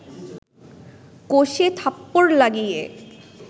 কষে থাপ্পড় লাগিয়ে